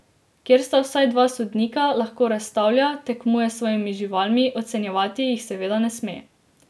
Kjer sta vsaj dva sodnika, lahko razstavlja, tekmuje s svojimi živalmi, ocenjevati jih seveda ne sme.